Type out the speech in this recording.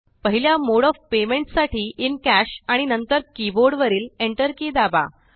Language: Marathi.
पहिल्या मोड ऑफ पेमेंट्स साठी इन कॅश आणि नंतर कीबोर्ड वरील एंटर की दाबा